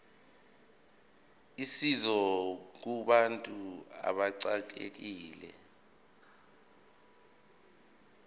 usizo kubantu abaxekekile